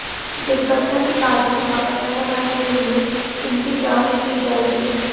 दुर्घटना के कारणों का पता लगाने के लिए इनकी जांच की जाएगी